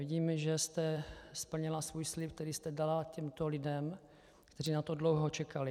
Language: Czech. Vidím, že jste splnila svůj slib, který jste dala těmto lidem, kteří na to dlouho čekali.